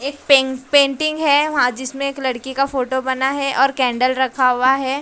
एक पें पेंटिंग है वहां जिसमें एक लड़की का फोटो बना है और कैंडल रखा हुआ है।